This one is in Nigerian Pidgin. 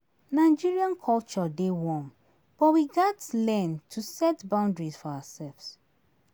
Nigerian culture dey one but we gats learn to set boundaries for ourselves.